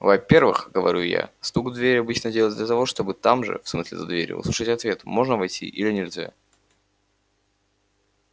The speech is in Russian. во-первых говорю я стук в дверь обычно делается для того чтобы там же в смысле за дверью выслушать ответ можно ли войти или нельзя